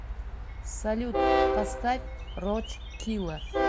салют поставь роч килла